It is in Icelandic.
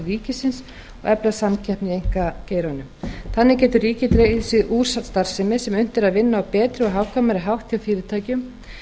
ríkisins og efla samkeppni í einkageiranum þannig getur ríkið dregið sig út úr starfsemi sem unnt er að vinna á betri og hagkvæmari hátt hjá fyrirtækjum